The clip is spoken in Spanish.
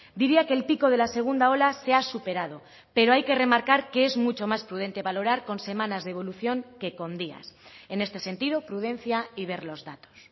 diría que el pico de la segunda ola se ha superado pero hay que remarcar que es mucho más prudente valorar con semanas de evolución que con días en este sentido prudencia y ver los datos